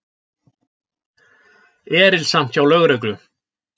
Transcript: Erilsamt hjá lögreglu